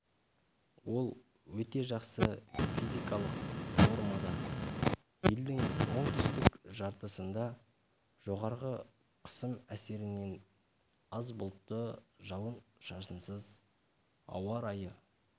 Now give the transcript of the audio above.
ол өте жақсы физикалық формада елдің оңтүстік жартысында жоғары қысым әсерінен аз бұлтты жауын-шашынсыз ауа райы